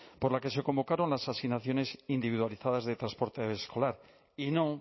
por la que se convocaron las asignaciones individualizadas de transporte escolar y no